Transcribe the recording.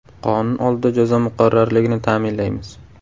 Qonun oldida jazo muqarrarligini ta’minlaymiz.